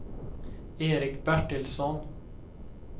Erik Bertilsson